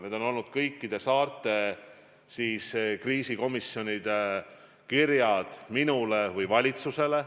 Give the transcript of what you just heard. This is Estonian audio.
Seda on palutud kõikide saarte kriisikomisjonide kirjades minule või valitsusele.